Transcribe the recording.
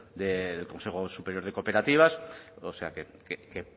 del consejo superior de cooperativas o sea que